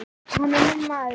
Hann er minn maður.